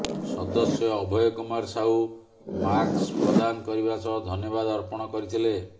ସଦସ୍ୟ ଅଭୟ କୁମାର ସାହୁ ମାକ୍ସ ପ୍ରଦାନ କରିବା ସହ ଧନ୍ୟବାଦ ଅର୍ପଣ କରିଥିଲେ